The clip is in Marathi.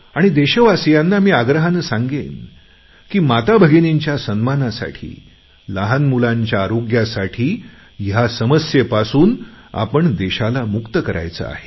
आणि देशवासियांना मी आग्रहाने सांगेन की माताभगिनींच्या सन्मानासाठी लहान मुलांच्या आरोग्यासाठी ह्या समस्येपासून आपण देशाला मुक्त करायचे आहे